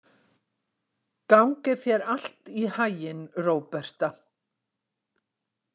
Gangi þér allt í haginn, Róberta.